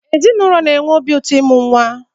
Ezinụlọ na-enwe obi ụtọ ịmụ nwa